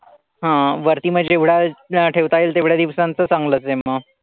हां वरती मग जेवढा ठेवता येईल तेवढ्या दिवसांचं चांगलंच आहे मग.